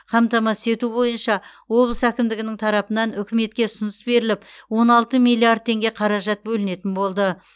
қамтамасыз ету бойынша облыс әкімдігінің тарапынан үкіметке ұсыныс беріліп он алты миллиард теңге қаражат бөлінетін болды